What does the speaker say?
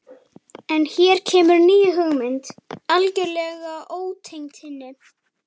En hér kemur ný hugmynd, algjörlega ótengd hinni.